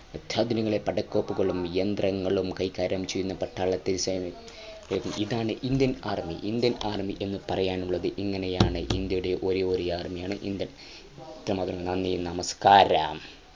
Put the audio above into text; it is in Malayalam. അത്യന്താധുനികങ്ങളായ പടക്കോപ്പുകളും യന്ത്രങ്ങളും കൈകാര്യം ചെയ്യുന്ന പട്ടാളത്തിൽ സേന ഇതാണ് Indian armyIndian army എന്ന് പറയാനുള്ളത് ഇങ്ങനെയാണ് ഇന്ത്യയുടെ ഒരേയൊരു armyIndian army നന്ദി നമസ്‌കാരം